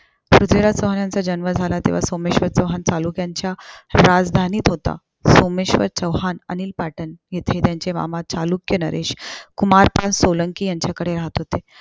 पृथ्वीराज चौहानांचा जन्म झाला. तेव्हा सोमेश्वर चौहान चालुक्यांच्या राजधानीत होता. सोमेश्वर चौहान अनहील पाटन येथे त्यांचे मामा चालुक्य नरेश कुमारभान सोलांकी यांच्याकडे राहत होते.